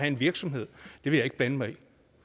en virksomhed vil jeg ikke blande mig